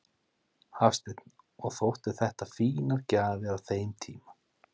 Hafsteinn: Og þóttu þetta fínar gjafir á þeim tíma?